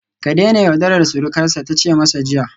Ka daina yaudarar surukarsa ta ce masa jiya